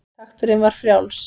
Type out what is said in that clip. Takturinn var frjáls.